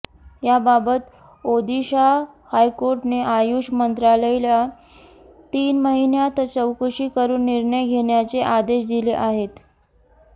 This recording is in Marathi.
याबाबत ओदिशा हायकोर्टाने आयुष मंत्रालयाला तीन महिन्यात चौकशी करून निर्णय घेण्याचे आदेश दिले आहेत